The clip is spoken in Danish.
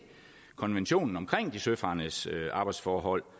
konventionen om søfarendes arbejdsforhold